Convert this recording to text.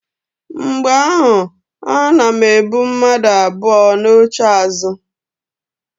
Mgbe ahụ ana m ebu mmadu abụọ n'oche azụ.